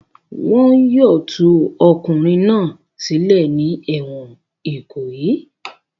Wọn yóò tú ọkùnrin náà sílẹ̀ ní ẹ̀wọ̀n Ìkòyí!